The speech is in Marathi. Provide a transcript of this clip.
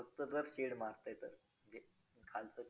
तर मग पालकांसोबत कुठल्या कुठल्या म्हणजे गोष्टी .